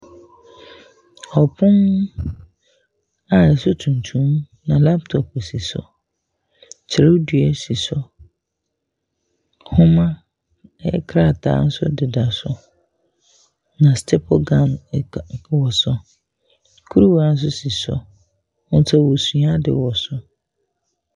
Ɔpon a so tuntum na laptop osi so. Twerɛdua si so. Nhoma nkrataa nso deda so, na staple gun da kuruwa so a kuruwa nso si so. Nti wɔresua ade wɔ so.